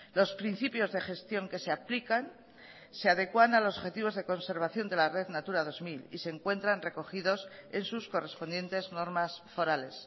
los principios de gestión que se aplican se adecuan a los objetivos de conservación de la red natura dos mil y se encuentran recogidos en sus correspondientes normas forales